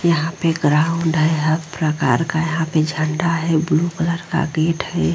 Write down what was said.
यहाँ पे एक ग्राउंड है। हर प्रकार का यहाँ पे झंडा है। ब्लू कलर का गेट है।